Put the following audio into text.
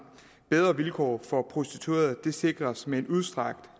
bedre vilkår for prostituerede sikres med en udstrakt